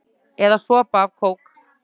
Eða sopa af kók?